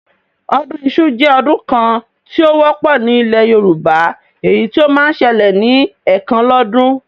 Ọdún iṣu jẹ́ ọdún kan tí ó wọ́pọ̀ ní ilẹ̀ Yorùbá, èyí tí ó máa ń ṣẹlẹ̀ ní ẹ̀kan lọ́dún